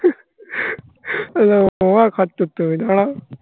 এই দেখো আবার কাজ করতে হবে. দাঁড়াও